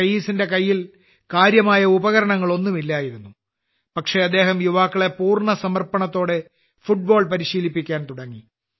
റയീസിന്റെ കാര്യമായ ഉരകരണങ്ങൾ ഒന്നും ഇല്ലായിരുന്നു പക്ഷേ അദ്ദേഹം യുവാക്കളെ പൂർണ്ണ സമർപ്പണത്തോടെ ഫുട്ബോൾ പരിശീലിപ്പിക്കാൻ തുടങ്ങി